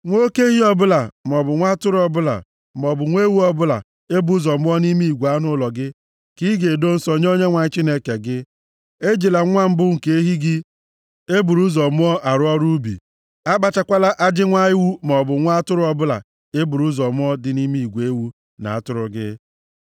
Nwa oke ehi ọbụla maọbụ nwa atụrụ ọbụla maọbụ nwa ewu ọbụla e bụ ụzọ mụọ nʼime igwe anụ ụlọ gị ka ị ga-edo nsọ nye Onyenwe anyị Chineke gị, ejila nwa mbụ nke ehi gị e buru ụzọ mụọ arụ ọrụ ubi, akpachakwala ajị nwa ewu maọbụ nwa atụrụ ọbụla e buru ụzọ mụọ dị nʼime igwe ewu na atụrụ gị.